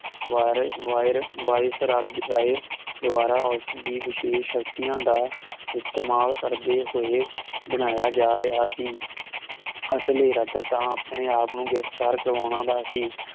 wire ਵਾਇਰ ਵਾਈਸਰੱਦ ਰਾਏ ਦਵਾਰਾ ਉਸ ਦੀ ਵਿਸ਼ੇਸ਼ਤੀਆਂ ਦਾ ਇਸਤੇਮਾਲ ਕਰਦੇ ਹੋਏ ਬਣਾਇਆ ਜਾ ਰਿਹਾ ਸੀ ਅਸਲੀ ਇਰਾਦਾ ਤਾਂ ਆਪਣੇ ਆਪ ਨੂੰ ਗਿਰਫ਼ਤਾਰ ਕਰਾਉਣਾ ਸੀ